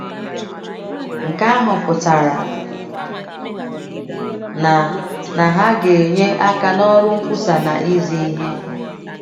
Nke ahụ pụtara na na ha ga - enye aka n’ọrụ nkwusa na izi ihe.